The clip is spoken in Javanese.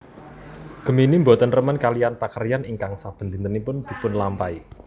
Gemini boten remen kaliyan pakaryan ingkang saben dinten dipunlampahi